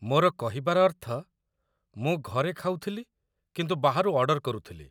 ମୋର କହିବାର ଅର୍ଥ, ମୁଁ ଘରେ ଖାଉଥିଲି କିନ୍ତୁ ବାହାରୁ ଅର୍ଡର କରୁଥିଲି।